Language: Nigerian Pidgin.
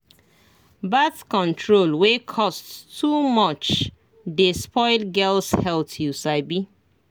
birth control wey cost too much dey spoil girls health you sabi